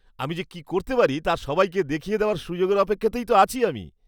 আমি যে কি করতে পারি তা সবাইকে দেখিয়ে দেওয়ার সুযোগের অপেক্ষাতেই তো আছি আমি।